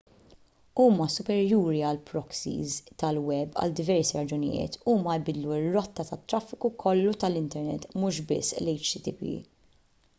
huma superjuri għall-proxies tal-web għal diversi raġunijiet huma jbiddlu r-rotta tat-traffiku kollu tal-internet mhux biss l-http